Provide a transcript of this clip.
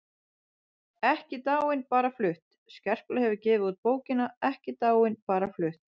EKKI DÁIN BARA FLUTT Skerpla hefur gefið út bókina Ekki dáin- bara flutt.